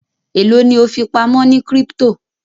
elo ni o fipamọ ní crypto?